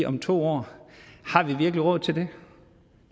om to år har vi virkelig råd til det